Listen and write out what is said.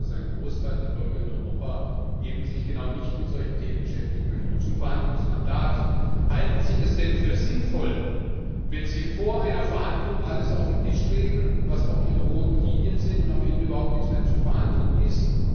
Ich weiß, dass ein Großteil der Bürger in Europa sich eben genau nicht mit solchen Themen beschäftigen möchte. Zum Verhandlungsmandat Halten Sie es denn für sinnvoll, wenn Sie vor einer Verhandlung alles auf den Tisch legen, auch was Ihre roten Linien sind, und am Ende überhaupt nichts mehr zu verhandeln ist?